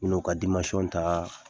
Bin'o ka dimansɔn ta